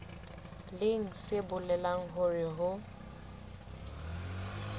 leng se bolelang hore ho